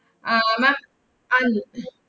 ആഹ് ma'am അഹ്